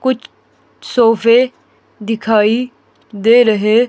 कुच् सोफे दिखाई दे रहे--